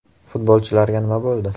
Futbolchilarga nima bo‘ldi?